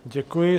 Děkuji.